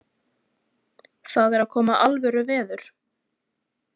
Það er að koma alvöru veður.